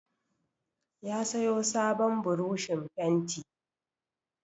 Ya sayo sabon burushin fenti.